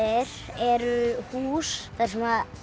eru hús þar sem